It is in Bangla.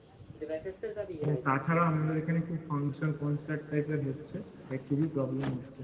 ও তাছাড়া আমাদের এখানে খুব function concert type এর হচ্ছে তাই খুবই problem হচ্ছে